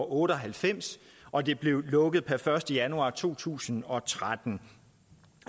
otte og halvfems og det blev lukket per første januar to tusind og tretten